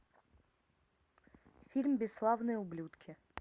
фильм бесславные ублюдки